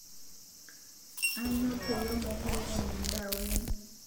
Aanyo payie mokure enyaa ndaa oleng